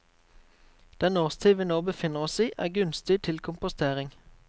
Den årstid vi nå befinner oss i, er gunstig til kompostering.